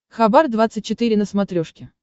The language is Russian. хабар двадцать четыре на смотрешке